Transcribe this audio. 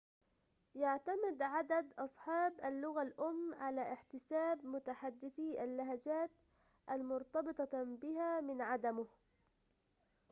يعتمد عدد أصحاب اللغة الأم على احتساب متحدثي اللهجات المرتبطة بها من عدمه